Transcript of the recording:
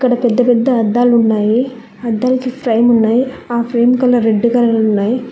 ఇక్కడ పెద్ద పెద్ద అద్దాలు ఉన్నాయి. అద్దాలకి ఫ్రేం ఉన్నాయి ఆ ఫ్రేం కలర్ రెడ్ కలర్ ఉన్నాయి.